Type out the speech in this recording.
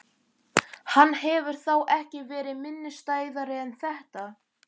Hann hefur þá ekki verið minnisstæðari en þetta?